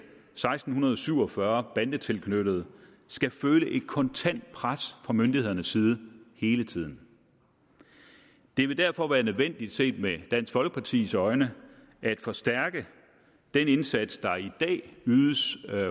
seksten syv og fyrre bandetilknyttede skal føle et kontant pres fra myndighedernes side hele tiden det vil derfor være nødvendigt set med dansk folkepartis øjne at forstærke den indsats der i dag ydes